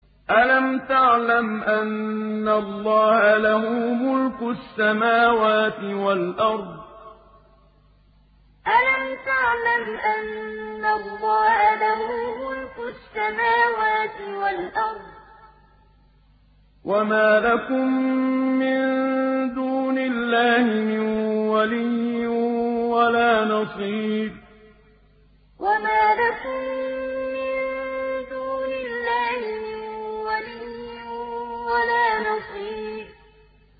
أَلَمْ تَعْلَمْ أَنَّ اللَّهَ لَهُ مُلْكُ السَّمَاوَاتِ وَالْأَرْضِ ۗ وَمَا لَكُم مِّن دُونِ اللَّهِ مِن وَلِيٍّ وَلَا نَصِيرٍ أَلَمْ تَعْلَمْ أَنَّ اللَّهَ لَهُ مُلْكُ السَّمَاوَاتِ وَالْأَرْضِ ۗ وَمَا لَكُم مِّن دُونِ اللَّهِ مِن وَلِيٍّ وَلَا نَصِيرٍ